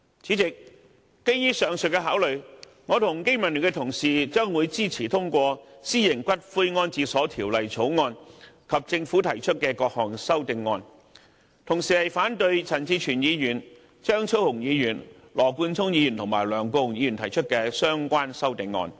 主席，基於上述的考慮，我和經民聯的同事將會支持通過《條例草案》及政府提出的各項修正案，同時反對陳志全議員、張超雄議員、羅冠聰議員及梁國雄議員提出的相關修正案。